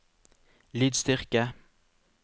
lydstyrke